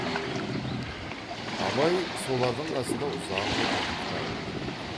абай солар қасында ұзақ отырып кітап оқиды